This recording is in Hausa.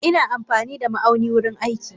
Ina amfanida ma aunin wurin aiki.